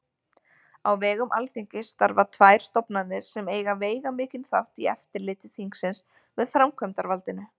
Á vegum Alþingis starfa tvær stofnanir sem eiga veigamikinn þátt í eftirliti þingsins með framkvæmdarvaldinu.